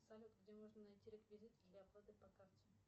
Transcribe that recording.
салют где можно найти реквизиты для оплаты по карте